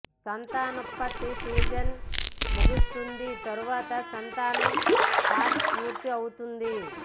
సంతానోత్పత్తి సీజన్ ముగుస్తుంది తర్వాత సంతానం పాచ్ పూర్తి అవుతుంది